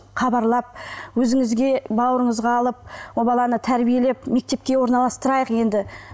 хабарлап өзіңізге бауырыңызға алып ол баланы тәрбиелеп мектепке орналастырайық енді